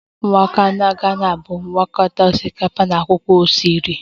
Waakye ghana bụ ngwakọta osikapa na akwụkwọ soro